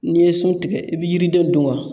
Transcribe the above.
N'i ye sun tigɛ i be yiriden dun wa